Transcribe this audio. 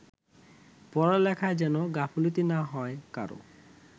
পড়ালেখায় যেন গাফিলতি না হয় কারও